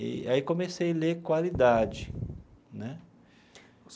E aí comecei a ler qualidade né.